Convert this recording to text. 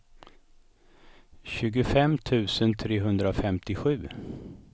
tjugofem tusen trehundrafemtiosju